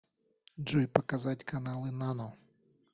джой показать каналы нано